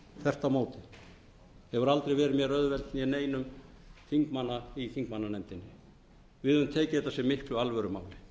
á móti það hefur aldrei verið mér auðvelt né neinum þingmanna í þingmannanefndinni við höfum tekið þetta sem miklu alvörumáli